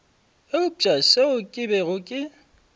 eupša seo ke bego ke